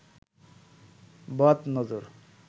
বদ নজর